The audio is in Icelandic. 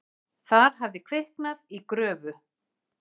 Þar hafði kviknað í gröfu.